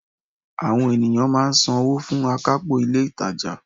Àwon ènìyàn máa n san wó fún akápò ilé ìtajà